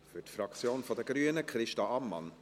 Für die Fraktion der Grünen, Christa Ammann.